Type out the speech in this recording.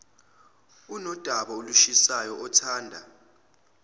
unodaba olushisayo othanda